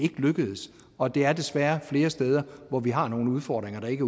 lykkedes og det er desværre flere steder hvor vi har nogle udfordringer der ikke